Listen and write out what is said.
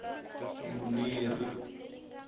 muneri